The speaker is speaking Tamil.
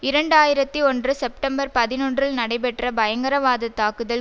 இரண்டு ஆயிரத்தி ஒன்று செப்டம்பர் பதினொன்றில் நடைபெற்ற பயங்கரவாத தாக்குதல்